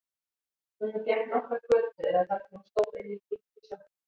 Hún gekk nokkrar götur eða þar til hún stóð inni í lítilli sjoppu.